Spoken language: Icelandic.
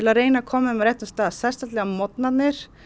að reyna að koma þeim á réttan stað sérstaklega á morgnanna